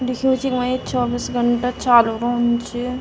लिख्यू च वा या चौबीस घंटा चालू रोंदू च।